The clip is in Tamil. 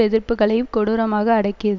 எதிர்ப்புக்களையும் கொடூரமாக அடக்கி